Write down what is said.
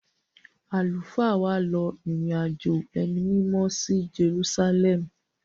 Àlùfáà wa lọ ìrìn-àjò ẹni mímọ́ sí Jerúsálẹ́ẹ̀mù.